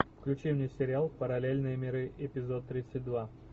включи мне сериал параллельные миры эпизод тридцать два